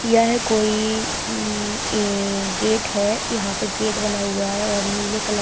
यह कोई हम्म अ गेट है यहाँ पे गेट बना हुआ है और नीले--